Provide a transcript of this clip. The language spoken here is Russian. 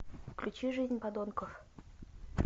включи жизнь подонков